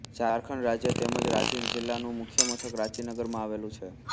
ઝારખંડ રાજ્ય તેમ જ રાંચી જિલ્લાનું મુખ્ય મથક રાંચી નગરમાં આવેલું છે